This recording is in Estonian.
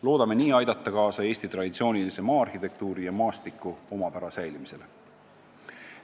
Loodame nii aidata kaasa Eesti traditsioonilise maa-arhitektuuri ja maastiku omapära säilimisele.